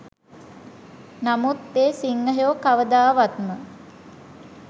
නමුත් ඒ සිංහයෝ කවදාවත්ම